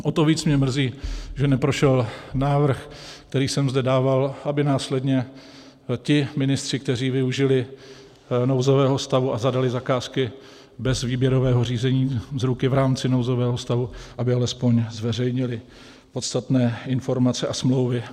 O to víc mě mrzí, že neprošel návrh, který jsem zde dával, aby následně ti ministři, kteří využili nouzového stavu a zadali zakázky bez výběrového řízení, z ruky, v rámci nouzového stavu, aby alespoň zveřejnili podstatné informace a smlouvy.